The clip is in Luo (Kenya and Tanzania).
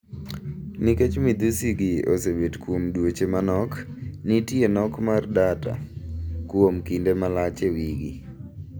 Nikech midhusi gi osebet kuom dweche manok, nitie nok mar data kuom kinde malach ewigi.